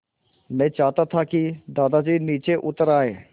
मैं चाहता था कि दादाजी नीचे उतर आएँ